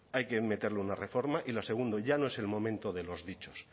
hay que meterle una reforma y lo segundo ya no es el momento de los dichos